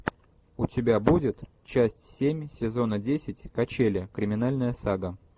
у тебя будет часть семь сезона десять качели криминальная сага